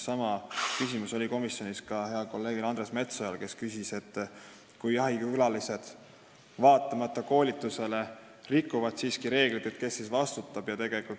Sama küsis komisjonis ka hea kolleeg Andres Metsoja: kui jahikülalised vaatamata koolitusele siiski reegleid rikuvad, kes siis vastutab?